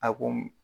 A ko